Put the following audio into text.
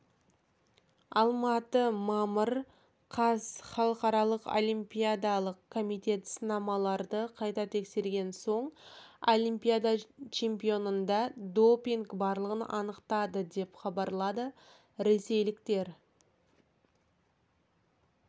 алматы мамыр қаз халықаралық олимпиадалық комитет сынамаларды қайта тексерген соң олимпиада чемпионында допинг барлығын анықтады деп хабарлады ресейлік тар